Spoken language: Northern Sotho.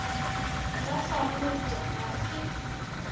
ba sa bopša ga se